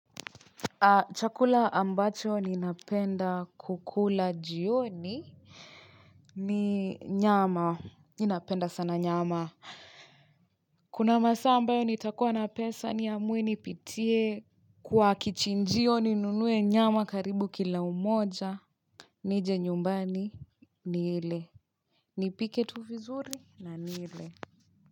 Chakula ambacho ninapenda kukula jioni ni nyama ninapenda sana nyama Kuna masa ambayo nitakuwa na pesa niamue nipitie kwa kichinjio ninunue nyama karibu kila moja Nije nyumbani niile Nipike tu vizuri na nile.